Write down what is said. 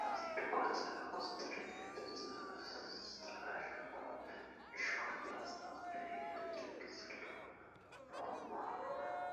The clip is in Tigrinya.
ኣብቲ ድኳን ዘሐጉስ ትርኢት፡ ብጽፉፍ ዝተዓሸገ ዕሹግ ፓስታ፡ ቀይሕ ምልክት ዘለዎ ‘ሮማ